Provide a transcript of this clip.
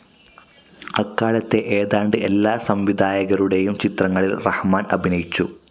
അക്കാലത്തെ ഏതാണ്ട് എല്ലാ സംവിധായകരുടേയും ചിത്രങ്ങളിൽ റഹ്മാൻ അഭിനയിച്ചു.